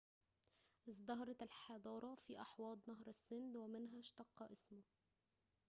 ازدهرت الحضارة في أحواض نهر السند ومنها اشتق اسمه